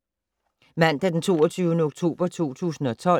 Mandag d. 22. oktober 2012